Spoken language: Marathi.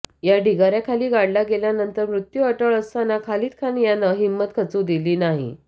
या ढिगाऱ्याखाली गाडला गेल्यानंतर मृत्यू अटळ असताना खालिद खान यानं हिम्मत खचू दिली नाही